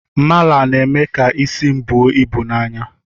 Mala na-eme ka isi m buo ibu na anya